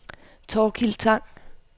Thorkild Tang